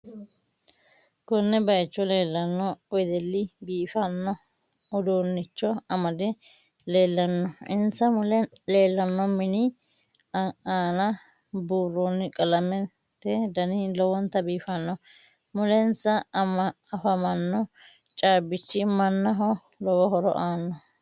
Konne bayiicho leelanno wedelli biifanno uduunicho amade leelanno insa mule leelanno mini aana burooni qalamete dani lowonta biifanno mulensa afamanno caabichi mannaho lowo horo aano